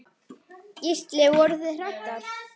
Gísli: Voruð þið hræddar?